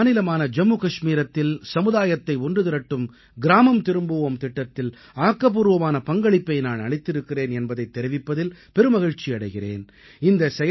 எனது மாநிலமான ஜம்மு கஷ்மீரத்தில் சமுதாயத்தை ஒன்றுதிரட்டும் கிராமம் திரும்புவோம் திட்டத்தில் ஆக்கப்பூர்வமான பங்களிப்பை நான் அளித்திருக்கிறேன் என்பதைத் தெரிவிப்பதில் பெரு மகிழ்ச்சி அடைகிறேன்